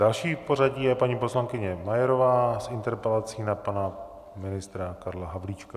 Další v pořadí je paní poslankyně Majerová s interpelací na pana ministra Karla Havlíčka.